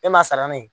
E m'a sara ne ye